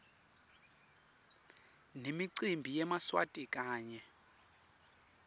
nemicimbi yemaswati kanye